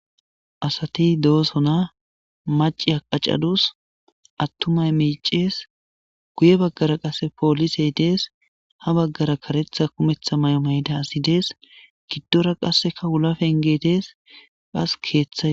Asati doosona maci haqacadus attumay miicees guye baggara qasse poolisey dees ha baggara karetha kumetha may7o mayda asi dees giddora qasseka ulapengedees qas keeththaye.